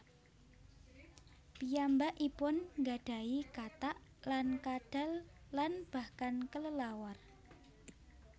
Piyambakipun nggadahi katak lan kadal lan bahkan kelelawar